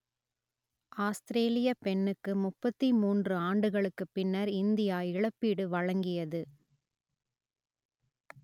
ஆஸ்த்திரேலியப் பெண்ணுக்கு முப்பத்தி மூன்று ஆண்டுகளுக்குப் பின்னர் இந்தியா இழப்பீடு வழங்கியது